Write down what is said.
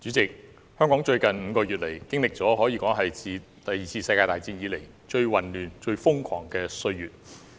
主席，香港在最近5個月，經歷了可說自第二次世界大戰後最混亂、最瘋狂的歲月。